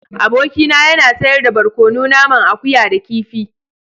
Abokina yana sayar da barkono naman akuya da kifi.